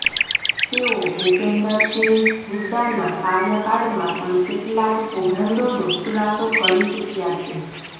તેઓ ભૂપેન્દર સિંહ હુડ્ડાના કાર્યકાળમાં પણ કેટલાક કૌભાંડોનો ખુલાસો કરી ચૂક્યા છે